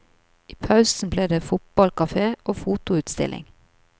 I pausen blir det fotballkafé og fotoutstilling.